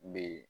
N bɛ